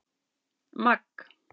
Magg